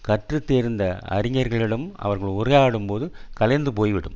கற்று தேர்ந்த அறிஞர்களிடம் அவர்கள் உரையாடும்போது கலைந்து போய்விடும்